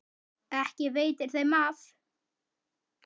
Ekki veitir þeim af.